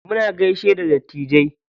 Muna gaishe da dattijai.